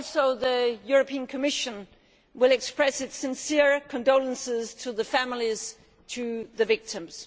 The European Commission will express its sincere condolences to the families of the victims.